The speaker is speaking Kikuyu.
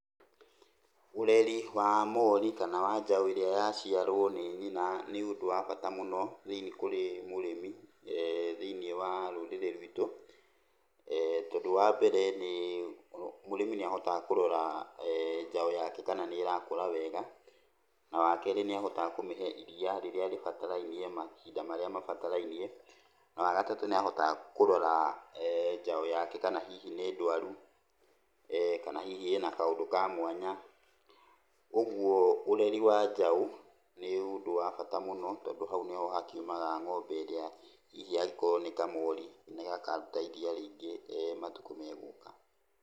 Ũreri wa mori kana wa njaũ ĩrĩa yaciarwo nĩ nyina nĩ ũndũ wa bata mũno thĩi, kũri mũrĩmi thĩiniĩ wa rũrĩrĩ rwitũ, tondũ wambere nĩ, mũrĩmi nĩ ahotaga kũrora njaũ yake kana nĩ ĩrakũra wega, na wakerĩ nĩ ahotaga kũmĩhe iria rĩrĩa rĩbatarainie mahinda marĩa mabatarainie. Na wagatatũ nĩ ahotaga kũrora njaũ yake kana hihi nĩ ndwaru, kana hihi ĩna kaũndũ ka mwanya. Ũguo ũreri wa njaũ nĩ ũndũ wa bata mũno tondũ haũ nĩho hakiumaga ng'ombe ĩrĩa hihi angĩkoo nĩ kamori nĩgakaruta iria rĩingĩ matukũ megũka.